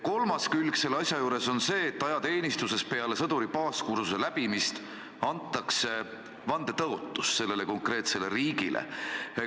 Kolmas külg asja juures on see, et ajateenistuses peale sõduri baaskursuse läbimist antakse vandetõotus sellele konkreetsele riigile.